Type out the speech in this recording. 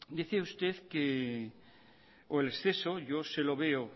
decía usted que o el exceso yo se lo veo